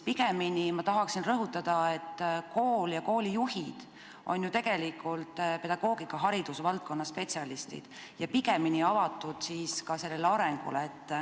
Pigemini tahaksin ma rõhutada, et kool ja koolijuhid on ju tegelikult pedagoogika- ehk haridusvaldkonna spetsialistid ja avatud ka sellele arengule.